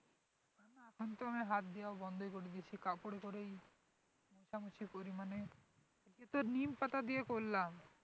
এখন তো আমি হাত দেওয়া বন্ধ করে দিয়েছি কাপড় মোছামোছি করি মানে এইতো নিমপাতা দিয়ে করলাম